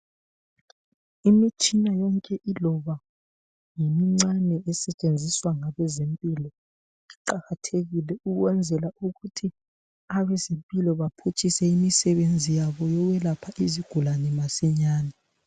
Imitshina yonke iloba ngemincane esetshenziswa ngabezempilo iqakathekile ukwenzela ukuthi abezempilo baphutshise imisebenzi yabo yokwelapha izigulane masinyane.